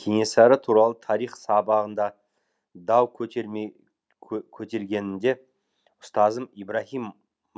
кенесары туралы тарих сабағында дау көтер көтергенде ұстазымыз ибрагим